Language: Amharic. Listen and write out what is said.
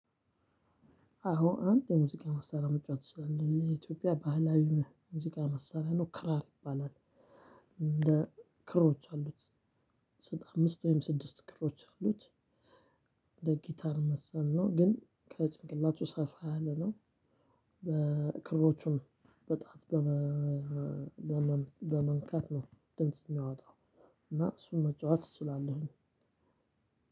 አዎ አንድ የሙዚቃ መሳሪያ መጫወት እችላለው የኢትዮጵያ ባህላዊ ሙዚቃ መሳሪያ ነው ክራር ይባላል። እንደ ክሮች አሉት። አምስት ወይም ስድስት ክሮች አሉት። እንደ ጊታር መሰል ነው ግን ከጭንቅላቱ ሰፋ ያለ ነው። በክሮቹም በጣት በመንካት ነው ድምጽ የሚያወጣው። እና እሱን መጫወት እሱ እችላለሁኝ።